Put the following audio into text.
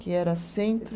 Que era Centro